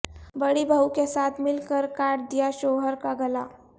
بڑی بہو کے ساتھ مل کرکاٹ دیا شوہر کا گلا